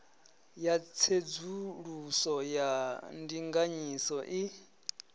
ya tsedzuluso ya ndinganyiso i